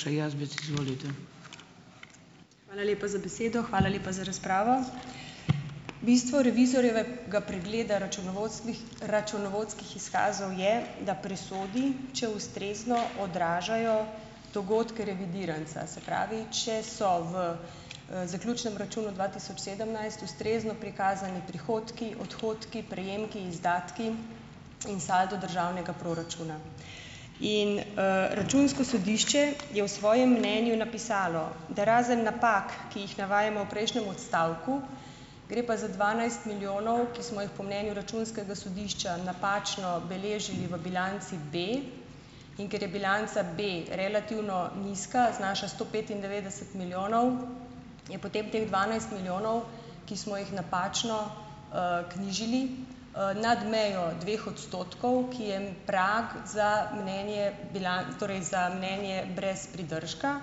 Hvala lepa za besedo, hvala lepa za razpravo. Bistvo revizorjevega pregleda računovodskih, računovodskih izkazov je, da presodi, če ustrezno odražajo dogodke revidiranca. Se pravi, če so v zaključnem računu dva tisoč sedemnajst ustrezno prikazani prihodki, odhodki, prejemki, izdatki in saldo državnega proračuna. In Računsko sodišče je v svojem mnenju napisalo, da razen napak, ki jih navajamo v prejšnjem odstavku, gre pa za dvanajst milijonov, ki smo jih po mnenju Računskega sodišča napačno beležili v bilanci B, in ker je bilanca B relativno nizka, znaša sto petindevetdeset milijonov, je potep teh dvanajst milijonov, ki smo jih napačno knjižili, nad mejo dveh odstotkov, ki je prag za mnenje torej za mnenje brez pridržka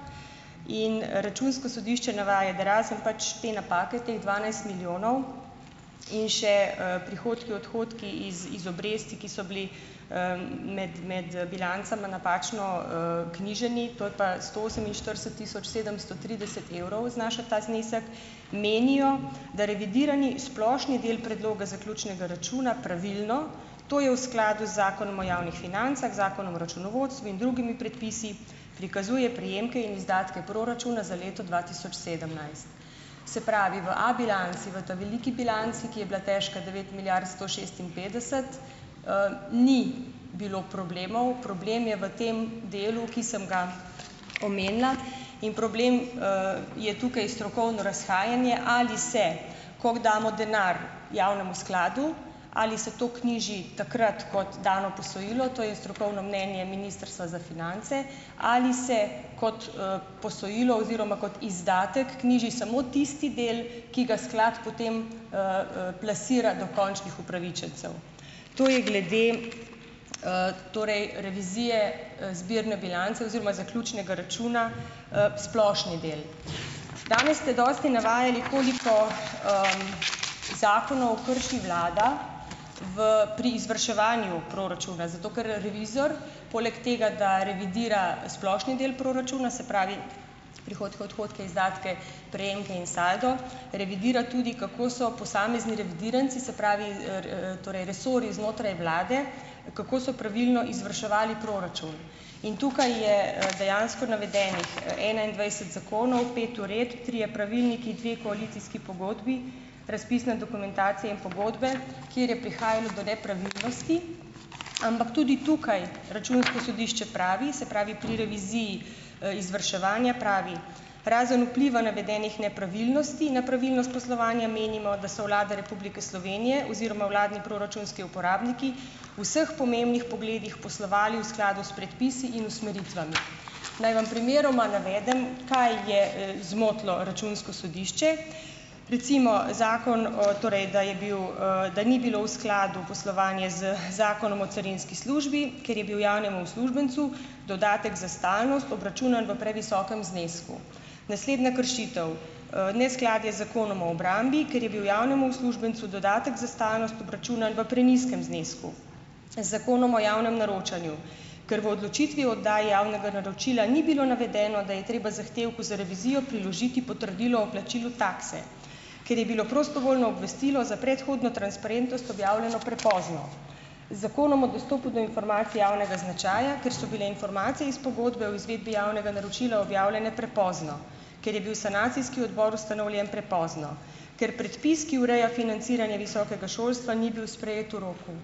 in Računsko sodišče navaja, da razen pač te napake, teh dvanajst milijonov in še prihodki, odhodki iz, iz obresti, ki so bili med, med bilancama napačno knjiženi, to je pa sto oseminštirideset tisoč sedemsto trideset evrov znaša ta znesek, menijo, da revidirani splošni del predloga zaključnega računa pravilno, to je v skladu z Zakonom o javnih financah, Zakonu o računovodstvu in drugimi predpisi, prikazuje prejemke in izdatke proračuna za leto dva tisoč sedemnajst. Se pravi, v A bilanci, v ta veliki bilanci, ki je bila težka devet milijard sto šestinpetdeset, ni bilo problemov. Problem je v tem delu, ki sem ga omenila, in problem je tukaj strokovno razhajanje, ali se, koliko damo denar javnemu skladu, ali se to knjiži takrat kot dano posojilo, to je strokovno mnenje Ministrstva za finance, ali se kot posojilo oziroma kot izdatek knjiži samo tisti del, ki ga sklad potem plasira do končnih upravičencev. To je glede torej revizije zbirne bilance oziroma zaključnega računa, splošni del. Danes ste dosti navajeni, koliko zakonov krši vlada v, pri izvrševanju proračuna, zato ker revizor, poleg tega, da revidira splošni del proračuna, se pravi, prihodke, odhodke, izdatke, prejemke in saldo, revidira tudi, kako so posamezni revidiranci, se pravi, r, torej resorji znotraj vlade, kako so pravilno izvrševali proračun. In tukaj je dejansko navedenih enaindvajset zakonov, pet uredb, trije pravilniki, dve koalicijski pogodbi, razpisne dokumentacije in pogodbe, kjer je prihajalo do nepravilnosti, ampak tudi tukaj Računsko sodišče pravi, se pravi, pri reviziji izvrševanja pravi: "Razen vpliva navedenih nepravilnosti na pravilnost poslovanja menimo, da so vlada Republike Slovenije oziroma vladni proračunski uporabniki v vseh pomembnih pogledih poslovali v skladu s predpisi in usmeritvami." Naj vam primeroma navedem, kaj je zmotilo Računsko sodišče. Recimo zakon, o, torej da je bil, da ni bilo v skladu poslovanje z zakonom o carinski službi, ker je bil javnemu uslužbencu dodatek za stalnost obračunan v previsokem znesku. Naslednja kršitev: neskladje z Zakonom o obrambi, ker je bil javnemu uslužbencu dodatek za stalnost obračunan v prenizkem znesku z Zakonom o javnem naročanju. Ker v odločitvi o oddaji javnega naročila ni bilo navedeno, da je treba zahtevku za revizijo priložiti potrdilo o plačilu takse. Ker je bilo prostovoljno obvestilo za predhodno transparentnost objavljeno prepozno. Z Zakonom o dostopu do informacij javnega značaja, ker so bile informacije iz pogodbe o izvedbi javnega naročila objavljene prepozno. Ker je bil sanacijski odbor ustanovljen prepozno. Ker predpis, ki ureja financiranje visokega šolstva, ni bil sprejet v roku.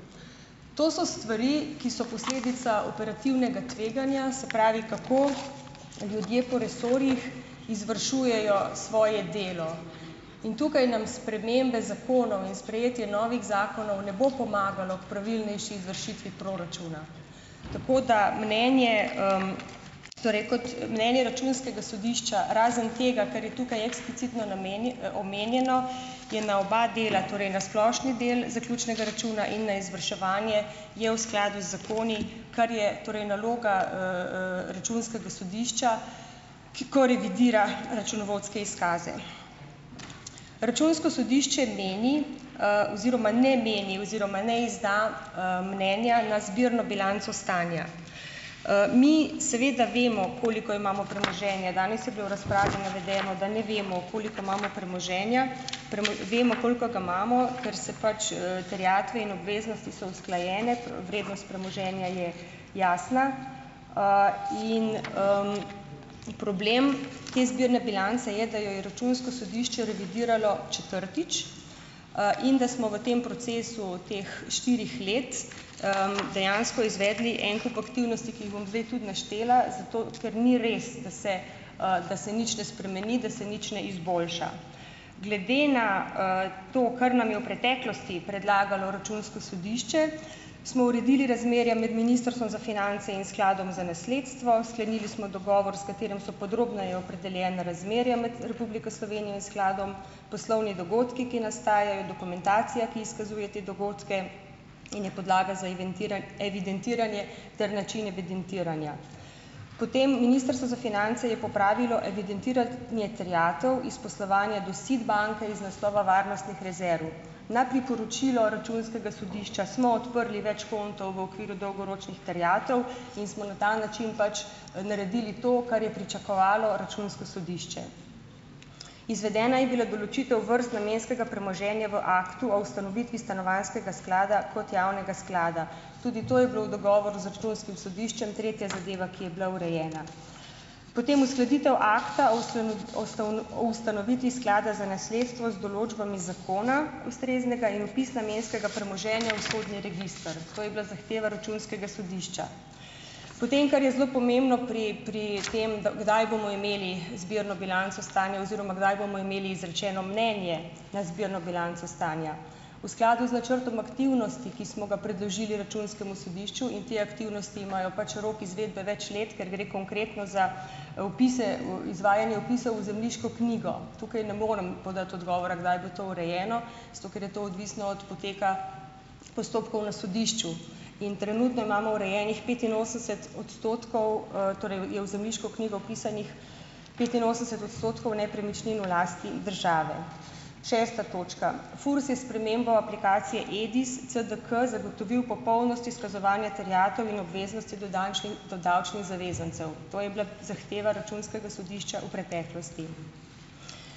To so stvari, ki so posledica operativnega tveganja, se pravi, kako ljudje po resorjih izvršujejo svoje delo. In tukaj nam spremembe zakonov in sprejetje novih zakonov ne bo pomagalo k pravilnejši izvršitvi proračuna. Tako da mnenje torej kot mnenje računskega sodišča, razen tega, kar je tukaj eksplicitno namen omenjeno, je na oba dela - torej na splošni del zaključnega računa in na izvrševanje - je v skladu z zakoni, kar je, torej, naloga računskega sodišča, ko revidira računovodske izkaze. Računsko sodišče meni oziroma ne meni oziroma ne izda mnenja na zbirno bilanco stanja. Mi seveda vemo, koliko imamo premoženja. Danes je bilo v razpravi navedeno, da ne vemo, koliko imamo premoženja. Premo, vemo, koliko ga imamo, ker se pač terjatve in obveznosti so usklajene, vrednost premoženja je jasna in problem te zbirne bilance je, da jo je računsko sodišče revidiralo četrtič in da smo v tem procesu teh štirih let dejansko izvedli en kup aktivnosti, ki jih bom zdaj tudi naštela, zato ker ni res, da se da se nič ne spremeni, da se nič ne izboljša. Glede na to, kar nam je v preteklosti predlagalo računsko sodišče, smo uredili razmerja med Ministrstvom za finance in Skladom za nasledstvo, sklenili smo dogovor, s katerim so podrobneje opredeljena razmerja med Republiko Slovenijo in skladom, poslovni dogodki, ki nastajajo, dokumentacija, ki izkazuje te dogodke in je podlaga za evidentiranje ter način evidentiranja. Potem - Ministrstvo za finance je popravilo evidentirat ne terjatev iz poslovanja do SID banke iz naslova varnostnih rezerv. Na priporočilo računskega sodišča smo odprli več kontov v okviru dolgoročnih terjatev in smo na ta način pač naredili to, kar je pričakovalo računsko sodišče. Izvedena je bila določitev vrst namenskega premoženja v Aktu o ustanovitvi Stanovanjskega sklada kot javnega sklada. Tudi to je bilo v dogovoru z računskim sodiščem, tretja zadeva, ki je bila urejena. Potem uskladitev akta o ustavno, o ustavno, o ustanovitvi Sklada za nasledstvo z določbami zakona ustreznega in opis namenskega premoženja v sodni register. To je bila zahteva računskega sodišča. Potem, kar je zelo pomembno pri, pri tem, da, kdaj bomo imeli zbirno bilanco stanja oziroma kdaj bomo imeli izrečeno mnenje na zbirno bilanco stanja. V skladu z načrtom aktivnosti, ki smo ga predložili računskemu sodišču - in te aktivnosti imajo pač rok izvedbe več let, ker gre konkretno za vpise, v, izvajanje vpisov v zemljiško knjigo. Tukaj ne morem podati odgovora, kdaj bo to urejeno, zato ker je to odvisno od poteka postopkov na sodišču. In trenutno imamo urejenih petinosemdeset odstotkov, torej je v zemljiško knjigo vpisanih petinosemdeset odstotkov nepremičnin v lasti države. Šesta točka. Furs je s spremembo aplikacije EDIS CDK zagotovil popolnost izkazovanja terjatev in obveznosti do dančnih, do davčnih zavezancev. To je bila zahteva računskega sodišča v preteklosti.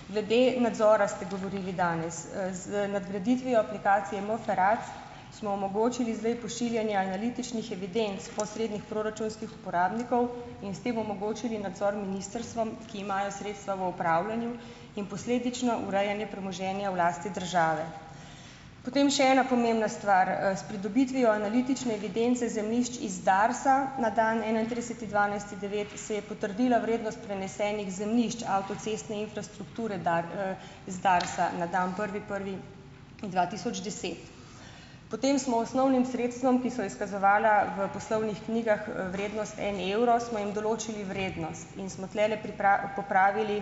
Glede nadzora ste govorili danes. Z nadgraditvijo aplikacije MFERAC smo omogočili zdaj pošiljanje analitičnih evidenc posrednih proračunskih uporabnikov in s tem omogočili nadzor ministrstvom, ki imajo sredstva v upravljanju, in posledično urejanje premoženja v lasti države. Potem še ena pomembna stvar. S pridobitvijo analitične evidence zemljišč iz Darsa na dan enaintrideseti dvanajsti devet da se je potrdila vrednost prenesenih zemljišč avtocestne infrastrukture dar z Darsa na dan prvi prvi dva tisoč deset. Potem smo osnovnim sredstvom, ki so izkazovala v poslovnih knjigah vrednost en evro, smo jim določili vrednost. In smo tlele pripravi, popravili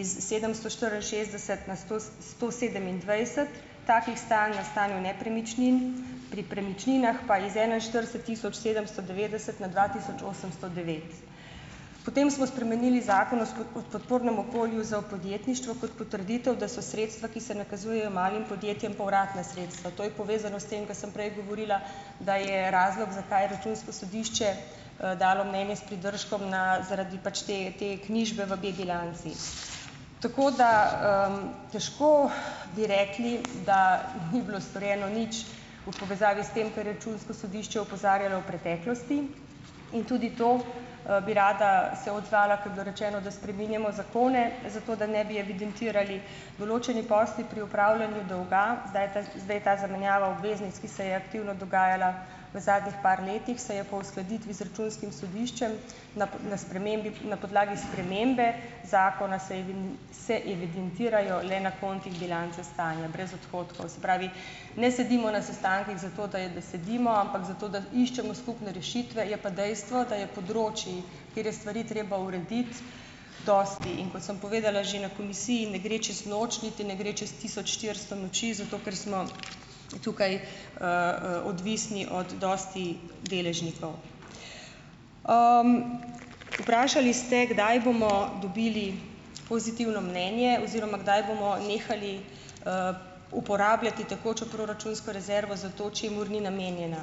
iz sedemsto štiriinšestdeset na sto, s, sto sedemindvajset takih stanj na stanju nepremičnin. Pri premičninah pa iz enainštirideset tisoč sedemsto devetdeset na dva tisoč osemsto devet. Potem smo spremenili Zakon o espe, o podpornem okolju za v podjetništvo kot potrditev, da so sredstva, ki se nakazujejo malim podjetjem, povratna sredstva. To je povezano s tem, ko sem prej govorila, da je razlog, zakaj Računsko sodišče dalo mnenje s pridržkom, na, zaradi pač, te, te knjižbe v B bilanci. Tako da, težko bi rekli, da ni bilo storjeno nič v povezavi s tem, kar je Računsko sodišče opozarjalo v preteklosti. In tudi to, bi rada se odzvala, ko je bilo rečeno, da spreminjamo zakone zato, da ne bi evidentirali. Določeni posli pri upravljanju dolga, zdaj ta, zdaj ta zamenjava obveznic, ki se je aktivno dogajala v zadnjih par letih, se je po uskladitvi z Računskim sodiščem na p, na spremembi, na podlagi spremembe zakona se evin, se evidentirajo le na kontih bilance stanja, brez odhodkov. Se pravi, ne sedimo na sestankih zato, da je, da sedimo, ampak zato, da iščemo skupne rešitve. Je pa dejstvo, da je področju, kjer je stvari treba urediti, dosti. In kot sem povedala že na komisiji, ne gre čez noč, niti ne gre čas tisoč štiristo noči, zato ker smo tukaj odvisni od dosti deležnikov. Vprašali ste, kdaj bomo dobili pozitivno mnenje oziroma kdaj bomo nehali uporabljati tekočo proračunsko rezervo za to, čemur ni namenjena.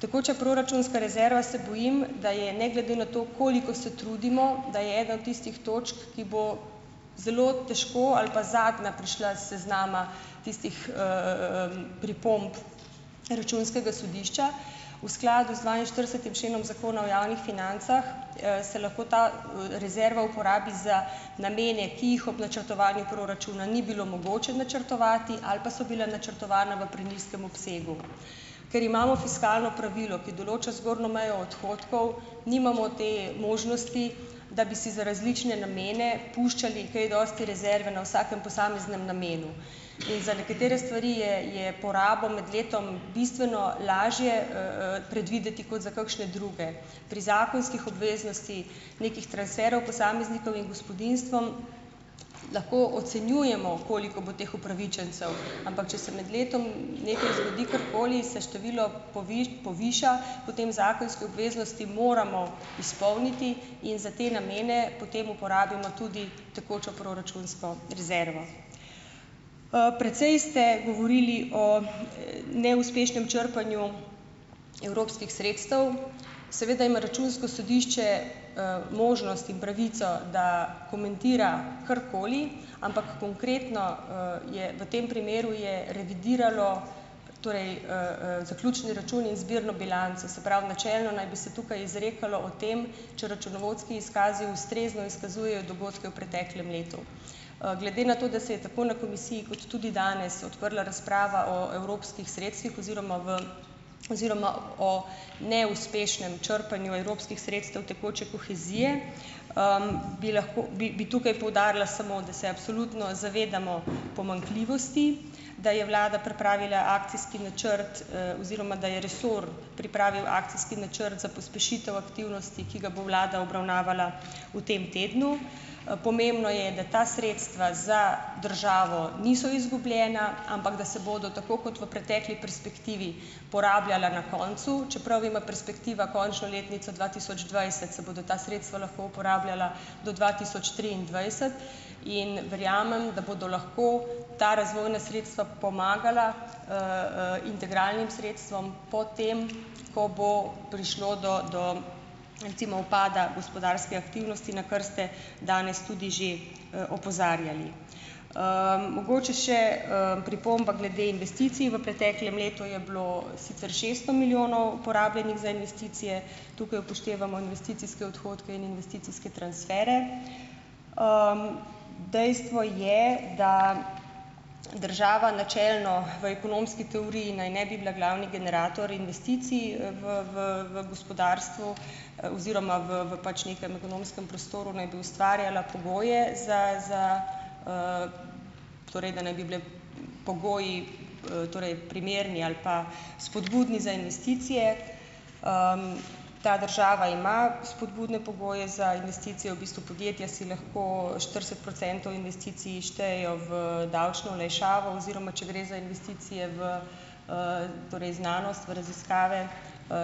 Tekoča proračunska rezerva, se bojim, da je ne glede na to, koliko se trudimo, da je ena od tistih točk, ki bo zelo težko ali pa zadnja prišla s seznama tistih pripomb Računskega sodišča. V skladu z dvainštiridesetim členom Zakona o javnih financah se lahko ta rezerva uporabi za namene, ki jih ob načrtovanju proračuna ni bilo mogoče načrtovati ali pa so bila načrtovana v prenizkem obsegu. Ker imamo fiskalno pravilo, ki določa zgornjo mejo odhodkov, nimamo te možnosti, da bi si za različne namene puščali kaj dosti rezerve na vsakem posameznem namenu. In za nekatere stvari je, je porabo med letom bistveno lažje predvideti kot za kakšne druge. Pri zakonskih obveznostih nekih transferov posameznikov in gospodinjstvom lahko ocenjujemo, koliko bo teh upravičencev, ampak če se med letom nekaj zgodi, karkoli, se število poviša, potem zakonske obveznosti moramo izpolniti in za te namene potem uporabimo tudi tekočo proračunsko rezervo. Precej ste govorili o neuspešnem črpanju evropskih sredstev. Seveda ima Računsko sodišče možnost in pravico, da komentira karkoli, ampak konkretno je v tem primeru je revidiralo torej zaključni račun in zbirno bilanco, se pravi, načelno naj bi se tukaj izrekalo o tem, če računovodski izkazi ustrezno izkazujejo dogodke v preteklem letu. Glede na to, da se je tako na komisiji kot tudi danes odprla razprava o evropskih sredstvih oziroma v oziroma o neuspešnem črpanju evropskih sredstev tekoče kohezije, bi lahko, bi, bi tukaj poudarila samo, da se absolutno zavedamo pomanjkljivosti, da je vlada pripravila akcijski načrt oziroma da je resor pripravil akcijski načrt za pospešitev aktivnosti, ki ga bo vlada obravnavala v tem tednu. Pomembno je, da ta sredstva za državo niso izgubljena, ampak da se bodo, tako kot v pretekli perspektivi, porabljala na koncu. Čeprav ima perspektiva končno letnico dva tisoč dvajset, se bodo ta sredstva lahko uporabljala do dva tisoč triindvajset. In verjamem, da bodo lahko ta razvojna sredstva pomagala integralnim sredstvom potem, ko bo prišlo do, do recimo, upada gospodarske aktivnosti, na kar ste danes tudi že opozarjali. Mogoče še pripomba glede investicij. V preteklem letu je bilo sicer šeststo milijonov porabljenih za investicije, tukaj upoštevamo investicijske odhodke in investicijske transfere. Dejstvo je, da država načelno v ekonomski teoriji naj ne bi bila glavni generator investicij v, v, v, gospodarstvu oziroma v, v pač nekem ekonomskem prostoru naj bi ustvarjala pogoje za, za, torej, da naj bi bile pogoji torej primerni ali pa spodbudni za investicije. Ta država ima spodbudne pogoje za investicije, v bistvu podjetja si lahko štirideset procentov investicij štejejo v davčno olajšavo oziroma če gre za investicije v torej znanost, v raziskave,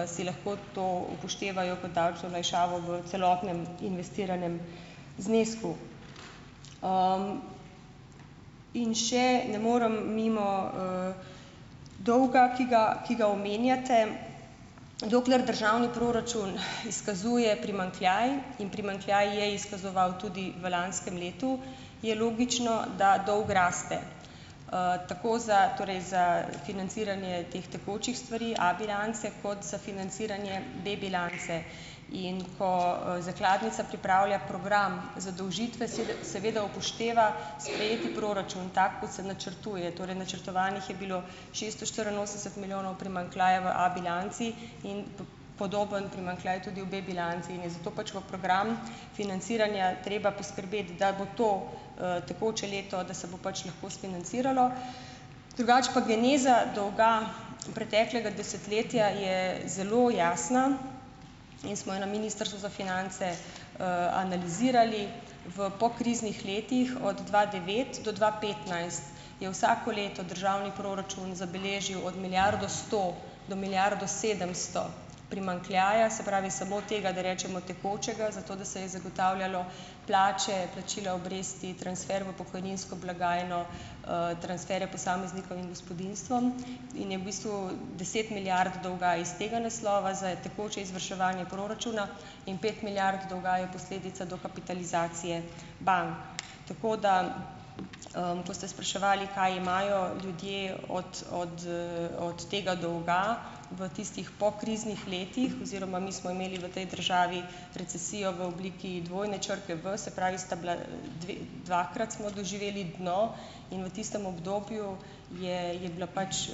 si lahko to upoštevajo kot davčno olajšavo v celotnem investiranem znesku. In še ne morem mimo dolga, ki ga, ki ga omenjate. Dokler državni proračun izkazuje primanjkljaj in primanjkljaj je izkazoval tudi v lanskem letu, je logično, da dolg raste, tako za, torej za financiranje teh tekočih stvari, A bilance, kot za financiranje B bilance. In ko zakladnica pripravlja program zadolžitve, seveda seveda upošteva sprejeti proračun tako, kot se načrtuje, torej načrtovanih je bilo šeststo štiriinosemdeset milijonov primanjkljaja v A bilanci in p, podobno primanjkljaj tudi v B bilanci. In je zato pač v program financiranja treba poskrbeti, da bo to tekoče leto, da se bo pač lahko sfinanciralo. Drugače pa geneza dolga preteklega desetletja je zelo jasna in smo jo na Ministrstvu za finance analizirali v pokriznih letih. Od dva devet do dva petnajst je vsako leto državni proračun zabeležil od milijardo sto do milijardo sedemsto primanjkljaja, se pravi samo tega, da rečemo, tekočega, zato da se je zagotavljalo plače, plačila obresti, transfer v pokojninsko blagajno, transferje posameznikom in gospodinjstvom. In je v bistvu deset milijard dolga iz tega naslova za e tekoče izvrševanje proračuna in pet milijard dolga je posledica dokapitalizacije bank. Tako da, ko ste spraševali, kaj imajo ljudje od, od, od tega dolga v tistih pokriznih letih oziroma mi smo imeli v tej državi recesijo v obliki dvojne črke V, se pravi sta bila, dve, dvakrat smo doživeli dno in v tistem obdobju je, je bila pač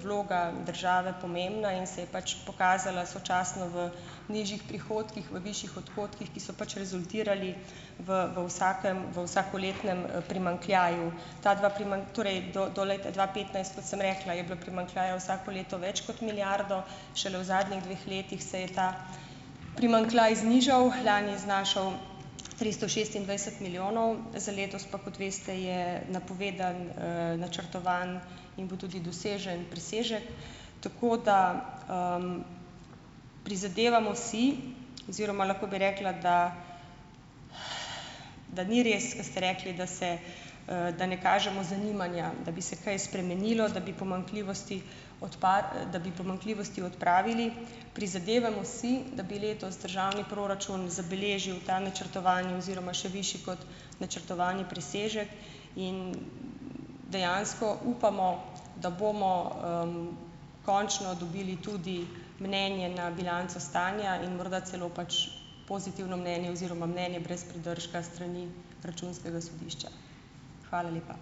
vloga države pomembna in se je pač pokazala sočasno v nižjih prihodkih, v višjih odhodkih, ki so pač rezultirali v, v vsakem, v vsakoletnem primanjkljaju. Ta dva torej do, do leta dva petnajst, kot sem rekla, je bilo primanjkljajev vsako leto več kot milijardo, šele v zadnjih dveh letih se je ta primanjkljaj znižal, lani znašal tristo šestindvajset milijonov za letos pa, kot veste, je napovedan, načrtovan in bo tudi dosežen presežek. Tako da prizadevamo si oziroma lahko bi rekla, da da ni res, ker ste rekli, da se, da ne kažemo zanimanja, da bi se kaj spremenilo, da bi pomanjkljivosti odpad da bi pomanjkljivosti odpravili. Prizadevamo si, da bi letos državni proračun zabeležil ta načrtovani oziroma še višji kot načrtovani presežek. In dejansko upamo, da bomo končno dobili tudi mnenje na bilanco stanja in morda celo pač pozitivno mnenje oziroma mnenje brez pridržka s strani Računskega sodišča. Hvala lepa.